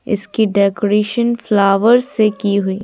इसकी decoration flower से की हुई--